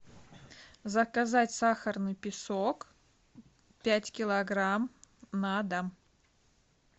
заказать сахарный песок пять килограмм на дом